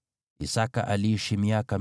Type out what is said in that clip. Isaki aliishi miaka 180.